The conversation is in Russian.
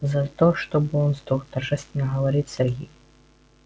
за то чтобы он сдох торжественно говорит сергей